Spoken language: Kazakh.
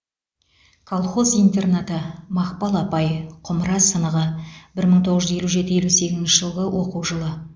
колхоз интернаты мақпал апай құмыра сынығы бір мың тоғыз жүз елу жеті елу сегізінші жылғы оқу жылы